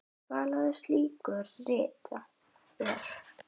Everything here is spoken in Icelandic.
Meðal slíkra rita er